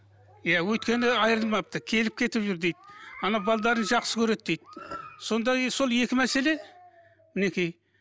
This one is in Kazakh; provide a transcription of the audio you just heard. иә өйткені айырылмапты келіп кетіп жүр дейді анау жақсы көреді дейді сонда енді сол екі мәселе мінекей